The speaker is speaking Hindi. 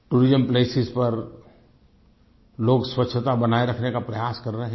टूरिस्ट प्लेसेस पर लोग स्वच्छता बनाये रखने का प्रयास कर रहे हैं